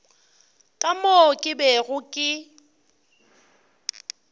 ka moo ke bego ke